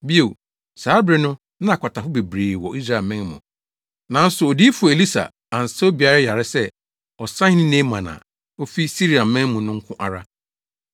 Bio, saa bere no na akwatafo bebree wɔ Israelman mu, nanso Odiyifo Elisa ansa obiara yare sɛ ɔsahene Naaman a ofi Siriaman mu no nko ara.”